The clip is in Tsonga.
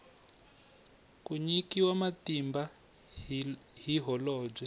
ku nyikiwa matimba hi holobye